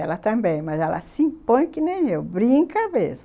Ela também, mas ela se impõe que nem eu, brinca mesmo.